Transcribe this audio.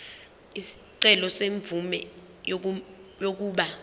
isicelo semvume yokuba